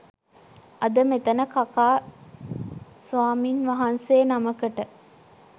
අද මෙතන කකා ස්වාමින් වහන්සේ නමකට